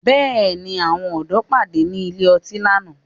Bẹ́ẹ̀ni, àwọn ọ̀dọ́ pàdé ní ilé ọtí lánàá